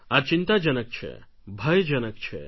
આ ચિંતાજનક છે ભયજનક છે